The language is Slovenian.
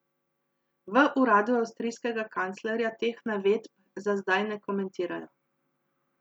V uradu avstrijskega kanclerja teh navedb za zdaj ne komentirajo.